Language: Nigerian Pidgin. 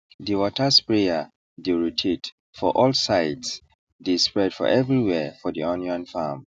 the water sprayer dey rotate for all sidese dey spread for everywhere for the onion farm